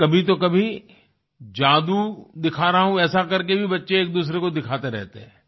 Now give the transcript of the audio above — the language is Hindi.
और कभी तो कभी जादू दिखा रहा हूँ ऐसे कर के भी बच्चे एकदूसरे को दिखाते रहते हैं